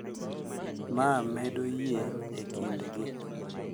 Ma medo yie e kindgi.